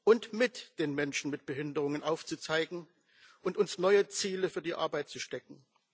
und mit den Menschen mit Behinderungen aufzuzeigen und uns neue Ziele für die Arbeit zu stecken.